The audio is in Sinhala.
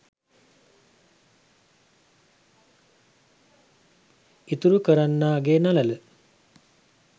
ඉතුරු කරන්නාගේ නළල